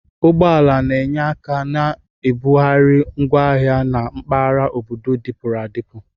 Ụgbọ ala na-enye aka na nbugharị ngwo ahịa na mpaghara obodo dịpụrụ adịpụ.